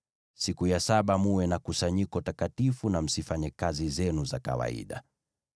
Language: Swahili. Siku ya saba mwe na kusanyiko takatifu na msifanye kazi zenu za kawaida.